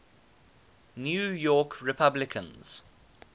new york republicans